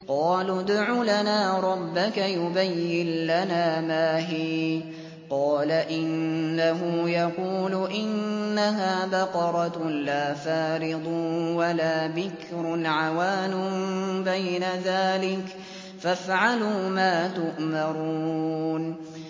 قَالُوا ادْعُ لَنَا رَبَّكَ يُبَيِّن لَّنَا مَا هِيَ ۚ قَالَ إِنَّهُ يَقُولُ إِنَّهَا بَقَرَةٌ لَّا فَارِضٌ وَلَا بِكْرٌ عَوَانٌ بَيْنَ ذَٰلِكَ ۖ فَافْعَلُوا مَا تُؤْمَرُونَ